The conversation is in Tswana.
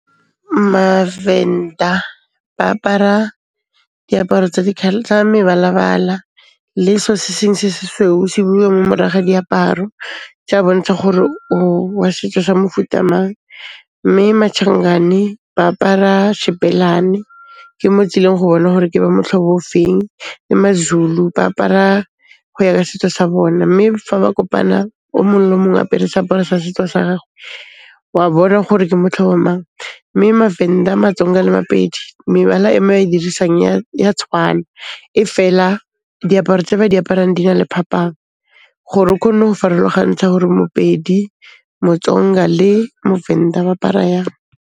Mavenda, ba apara diaparo tsa mebalabala le seo se sengwe se sweu se beiwang mo morago ga diaparo, tse a bontsha gore o wa setso sa mofuta mang. Mme Machangane ba apara shebelane. Ke mo o tsileng go bona gore ke ba motlhobo o feng, le Mazulu, ba apara go ya ka setso sa bone. Mme fa ba kopanang o mong le mong a apere seaparo sa setso sa gagwe, wa bona gore ke motlhobo mang, mme Mavenda, Matsonga le Mapedi mebala e ba e dirisang e a tshwana. Efela, diaparo tse ba di aparang di na le phapang, gore o kgone go farologantšha hore Mopedi, Motsonga le Movenda ba apara jang.